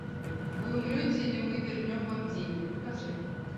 вы умрете или мы вернем вам деньги покажи